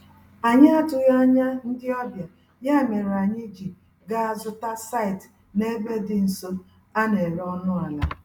Anyị atụghị anya ndị ọbịa, ya mèrè anyị ji gaa zụta site n'ebe dị nso, a néré ọnụ àlà